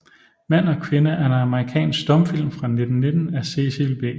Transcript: Mand og Kvinde er en amerikansk stumfilm fra 1919 af Cecil B